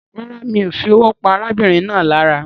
Rárá, mi o fi owó pa arábìnrin náà lára